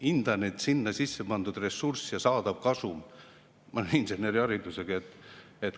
Hindan, et sinna sisse pandud ressurss ja saadav kasum – ma olen inseneriharidusega.